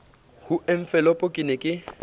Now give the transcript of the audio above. ho enfolopo ke ne ke